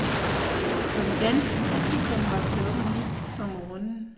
For det danske publikum var klokken ni om morgenen.